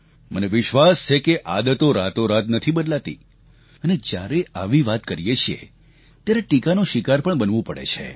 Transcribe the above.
મને વિશ્વાસ છે કે આદતો રાતોરાત નથી બદલાતી અને જ્યારે આવી વાત કરીએ છીએ ત્યારે ટીકાનો શિકાર પણ બનવું પડે છે